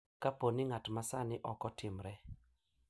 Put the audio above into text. Kapo ni ng’at ma sani ok otimre.